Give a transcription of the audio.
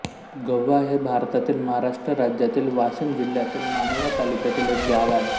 गव्हा हे भारतातील महाराष्ट्र राज्यातील वाशिम जिल्ह्यातील मानोरा तालुक्यातील एक गाव आहे